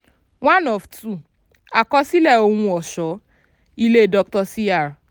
one of two àkọsílẹ̀ ohun ọ̀ṣọ́-ilé dr cr